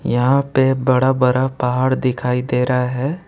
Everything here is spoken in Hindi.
यहां पे बड़ा बड़ा पहाड़ दिखाई दे रहा है।